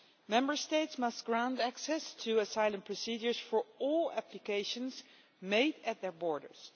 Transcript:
Member States must grant access to asylum procedures for all applications made at their borders.